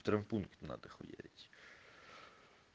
втравмпункт надо хуярить